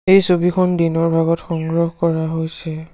এই ছবিখন দিনৰ ভাগত সংগ্ৰহ কৰা হৈছে।